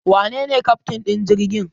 Wanene keftin din jirgin?